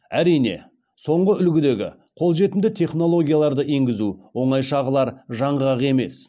әрине соңғы үлгідегі қолжетімді технологияларды енгізу оңай шағылар жаңғақ емес